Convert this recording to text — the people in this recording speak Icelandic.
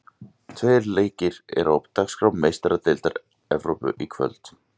Tveir leikir eru á dagskrá í Meistaradeild Evrópu í kvöld.